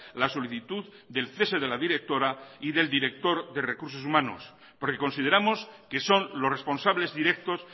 la solicitud del cese de la directora y del director de recursos humanos porque consideramos que son los responsables directos